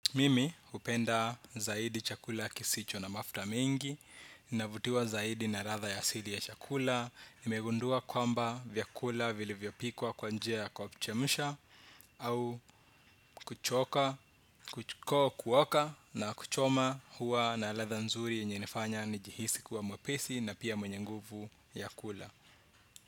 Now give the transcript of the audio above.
Mimi hupenda zaidi chakula kisicho na mafuta mingi. Navutiwa zaidi na ladha ya asili ya chakula. Nimegundua kwamba vyakula vilivyopikwa kwa njia kwa kuchemsha au kuoka na kuchoma huwa na ladha nzuri yenye inafanya nijihisi kuwa mwepesi na pia mwenye nguvu ya kula.